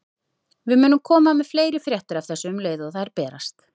Við munum koma með fleiri fréttir af þessu um leið og þær berast.